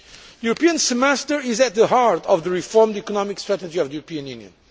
The European Semester is at the heart of the reformed economic strategy of the European Union.